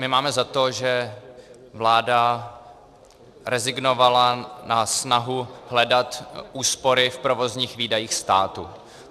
My máme za to, že vláda rezignovala na snahu hledat úspory v provozních výdajích státu.